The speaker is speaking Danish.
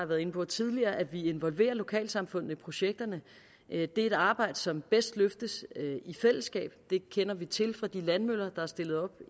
været inde på tidligere at vi involverer lokalsamfundet i projekterne det er et arbejde som bedst løftes i fællesskab det kender vi til fra de landvindmøller der er stillet op